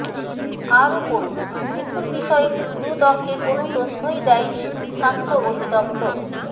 আরো পড়ুনঃ মিঠুর বিষয়ে দুদককে কোনো তথ্যই দেয়নি স্বাস্থ্য অধিদপ্তর